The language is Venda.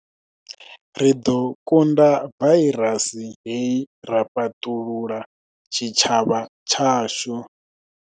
Ri ḓo kunda vairasi hei ra fhaṱulula tshitshavha tshashu.